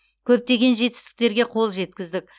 көптеген жетістіктерге қол жеткіздік